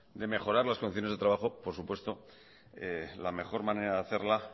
de mejorar las condiciones de trabajo por supuesto la mejor manera